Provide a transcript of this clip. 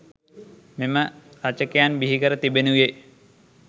මෙම රචකයන් බිහිකර තිබෙනුයේ